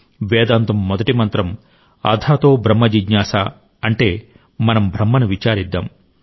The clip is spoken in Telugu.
వేదాంతం మొదటి మంత్రం అథాతో బ్రహ్మ జిజ్ఞాసా అంటే మనం బ్రహ్మను విచారిద్దాం